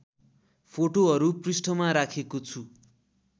फोटोहरू पृष्ठमा राखेको छु